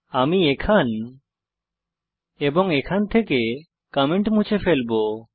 আমি এখান এবং এখান থেকে কমেন্ট মুছে ফেলবো